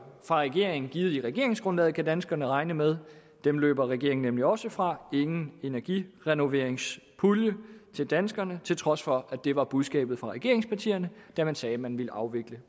fra regeringen givet i regeringsgrundlaget kan danskerne regne med dem løber regeringen nemlig også fra ingen energirenoveringspulje til danskerne til trods for at det var budskabet fra regeringspartierne da man sagde at man ville afvikle